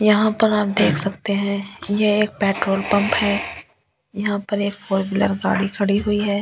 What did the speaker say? यहाँ पर आप देख सकते हैं ये एक पेट्रोल पम्प है यहाँ पर एक फोर व्हीलर गाड़ी खड़ी हुई है।